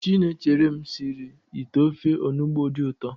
Chinemerem sịrị ite ofe Onugbu dị ụtọ